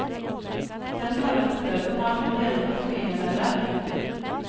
Den har han opplevd på nært hold gjennom et familiemedlem.